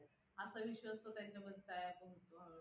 असा विश्वास तो त्यांच्यावर तयार करतोय.